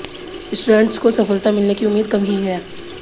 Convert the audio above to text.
students को सफलता मिलने की उम्मीद कम ही है